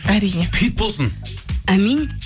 әрине хит болсын әмин